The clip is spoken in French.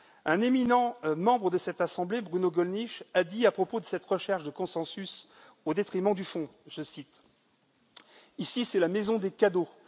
Un éminent membre de cette assemblée, Bruno Gollnisch, a dit à propos de cette recherche de consensus au détriment du fond, je cite Ici, c'est la maison des cadeaux.